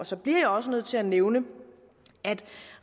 så bliver jeg også nødt til at nævne